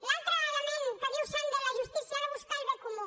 l’altre element que diu sandel la justícia ha de buscar el bé comú